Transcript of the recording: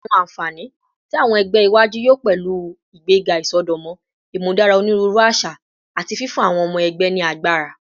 Awọn anfani ti awọn ẹgbẹ iwaju yoo pẹlu igbega isọdọmọ, imudara oniruuru aṣa, ati fifun awọn ọmọ ẹgbẹ ni agbara